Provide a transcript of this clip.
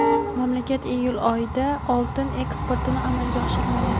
mamlakat iyul oyida oltin eksportini amalga oshirmagan.